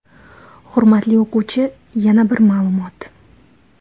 Hurmatli o‘quvchi, yana bir ma’lumot.